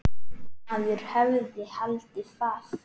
Maður hefði haldið það.